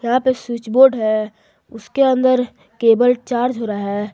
वहां पे switch board है उसके अंदर केबल चार्ज हो रहा है।